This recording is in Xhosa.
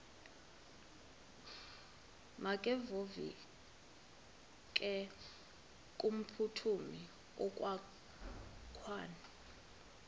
makevovike kumphuthumi okokwakhe